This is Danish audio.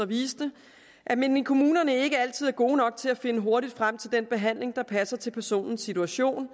viste at man i kommunerne ikke altid er gode nok til at finde hurtigt frem til den behandling der passer til personens situation